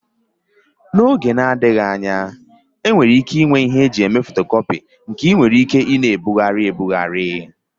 N'oge na-adịghị anya enwere ike inwe ịhe eji eme fotocopi nke enwere ike ina ebugharị.